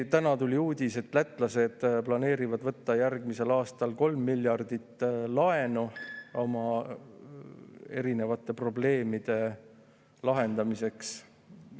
Täna tuli uudis, et lätlased plaanivad võtta järgmisel aastal kolm miljardit laenu oma probleemide lahendamiseks.